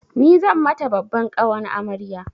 Ni zan mata babban ƙawan amarya.